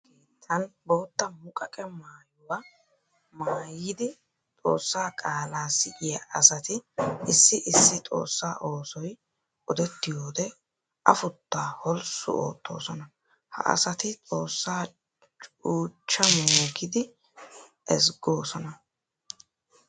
Xoosa keettan bootta muqaqqe maayuwa maayiddi Xoosa qaala siyiya asati issi issi Xoosa oosoy odettiyoode afutta holssu oottosonna. Ha asatti Xoosaa cuuchcha mooggiiddi ezggosonna.